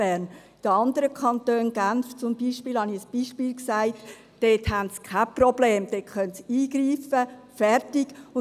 In anderen Kantonen wie Genf beispielsweise gibt es keine Probleme, dort kann eingegriffen werden.